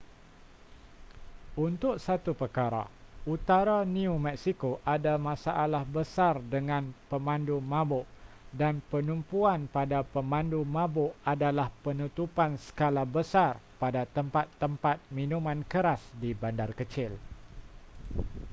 untuk satu perkara utara new mexico ada masalah besar dengan pemandu mabuk dan penumpuan pada pemandu mabuk adalah penutupan skala besar pada tempat-tempat minuman keras di bandar kecil